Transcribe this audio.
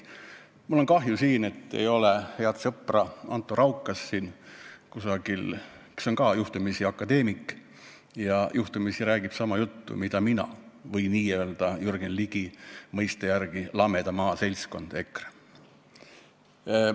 Mul on kahju, et head sõpra Anto Raukast ei ole siin kusagil, ta on ka juhtumisi akadeemik ja juhtumisi räägib sama juttu, mida räägin mina või räägib Jürgen Ligi mõiste järgi lameda maa seltskond EKRE.